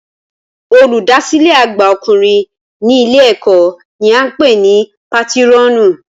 Olùdásílẹ̀ àgbà ọkùnrin ní ilé ẹ̀kọ́ ni a ń pè ní pátírọ̀nù